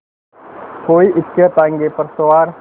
कोई इक्केताँगे पर सवार